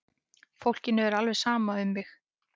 Fólkinu er alveg sama um mig!